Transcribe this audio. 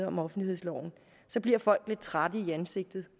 om offentlighedsloven så bliver folk lidt trætte i ansigtet